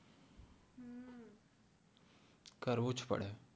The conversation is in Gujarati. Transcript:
કરવું જ પડે